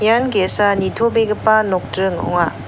ian ge·sa nitobegipa nokdring ong·a.